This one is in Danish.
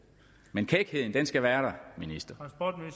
men kækheden skal være